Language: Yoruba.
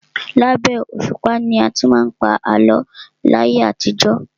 Labẹ́ òṣùpá ni a ti má ń pa àlọ́ láyé àtijọ́.